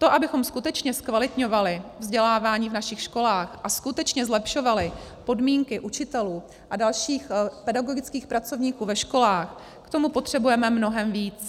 To, abychom skutečně zkvalitňovali vzdělávání v našich školách a skutečně zlepšovali podmínky učitelů a dalších pedagogických pracovníků ve školách, k tomu potřebujeme mnohem víc.